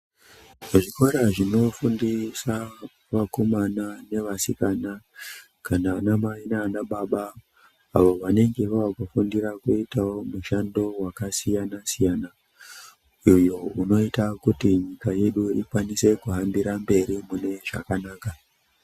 Muzvikora zvinofundisa vakomana nevasikana kana vana mai nana baba avo vanenge vavakufundira kuita mushando wakasiyana siyana uyo unoita kuti nyika yedu ikwanise kuhambira mberi mune zvakanaka.